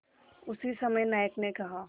उसी समय नायक ने कहा